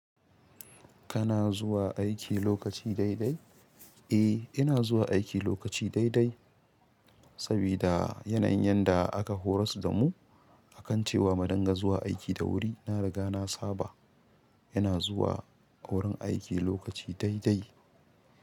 Kana zuwa aiki lokaci daidai? Eh ina zuwa aiki lokaci daidai sabida yanayin yanda a ka horasdamu akan cewa mu ringa zuwa aiki da wuri. Na riga na saba yana zuwa wurin aiki lokaci daidai.